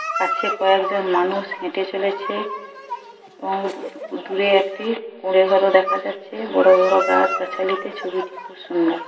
কাছে কয়েকজন মানুষ হেটে চলেছে এবং দূরে একটি দেখা যাচ্ছে বড় বড় গাছ গাছালিতে ছবিটি খুব সুন্দর।